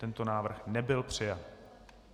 Tento návrh nebyl přijat.